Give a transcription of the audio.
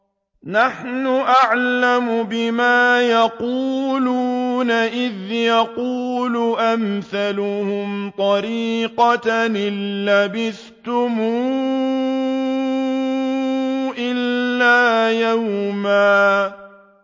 نَّحْنُ أَعْلَمُ بِمَا يَقُولُونَ إِذْ يَقُولُ أَمْثَلُهُمْ طَرِيقَةً إِن لَّبِثْتُمْ إِلَّا يَوْمًا